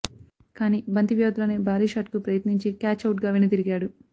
కానీ బంతి వ్యవధిలోనే భారీ షాట్కు ప్రయత్నించి క్యాచ్ ఔట్గా వెనుదిరిగాడు